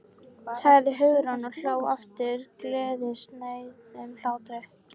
sagði Hugrún og hló aftur gleðisnauðum hlátri.